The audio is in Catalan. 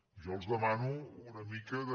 jo els demano una mica de